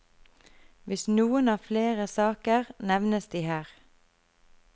Hvis noen har flere saker, nevnes de her.